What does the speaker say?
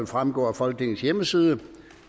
fremgår af folketingets hjemmeside